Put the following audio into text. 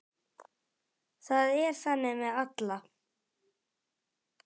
Það er þannig með alla.